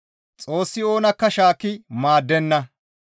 Xoossi oonakka shaakki maaddenna.